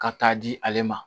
Ka taa di ale ma